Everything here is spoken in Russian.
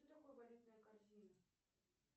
что такое валютная корзина